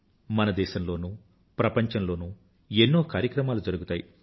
మన దేశంలోనూ ప్రపంచంలోనూ ఎన్నో కార్యక్రమాలు జరుగుతాయి